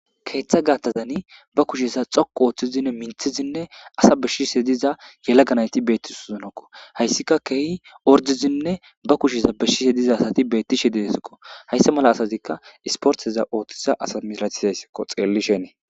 keeththa gaattazani ba kushesa xoku ooththizinne minthizinne asa beshshise diza yalaganayti beettis zonokko hayssika keehi ordizinne ba kusheza beshishe diza asati beettishe diesokko hayssa mala asatikka isporteza ooththiza asa mislatisayskko xellishenee